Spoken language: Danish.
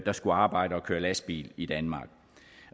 der skulle arbejde og køre lastbil i danmark